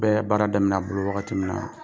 N bɛ baara daminɛ a bolo wagati min na